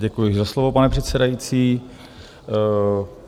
Děkuji za slovo, pane předsedající.